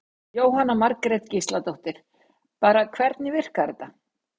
Jóhanna Margrét Gísladóttir: Bara hvernig virkar þetta?